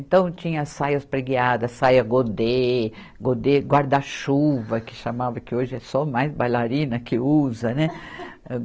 Então, tinha saias preguiadas, saia godê, godê guarda-chuva, que chamava, que hoje é só mais bailarina que usa, né?